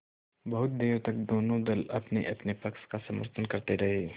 बहुत देर तक दोनों दल अपनेअपने पक्ष का समर्थन करते रहे